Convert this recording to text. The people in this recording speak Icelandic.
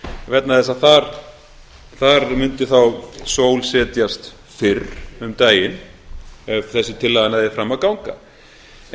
vegna þess að þar mundi þá sól setjast fyrr um daginn ef þessi tillaga næði fram að ganga hér